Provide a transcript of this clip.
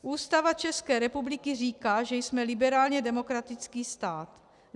Ústava České republiky říká, že jsme liberálně demokratický stát.